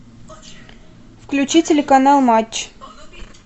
включи телеканал матч